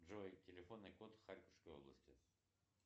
джой телефонный код харьковской области